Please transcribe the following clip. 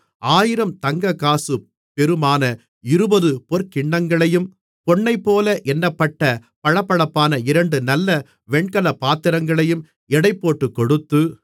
1000 தங்கக்காசு பெறுமான 20 பொற்கிண்ணங்களையும் பொன்னைப்போல எண்ணப்பட்ட பளபளப்பான இரண்டு நல்ல வெண்கலப் பாத்திரங்களையும் எடைபோட்டுக்கொடுத்து